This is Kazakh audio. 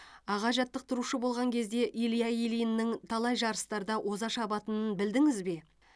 аға жаттықтырушы болған кезде илья ильиннің талай жарыстарда оза шабатынын білдіңіз бе